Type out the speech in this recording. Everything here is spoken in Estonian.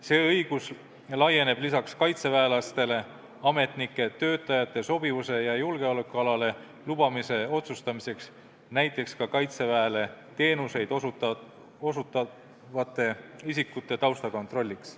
See õigus laieneb lisaks kaitseväelastele ametnike, töötajate sobivuse ja julgeolekualale lubamise otsustamiseks näiteks ka Kaitseväele teenuseid osutavate isikute taustakontrolliks.